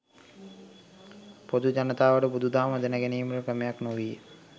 පොදු ජනතාවට බුදු දහම දැන ගැනීමට ක්‍රමයක් නොවිය.